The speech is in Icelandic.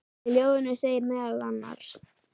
Í ljóðinu segir meðal annars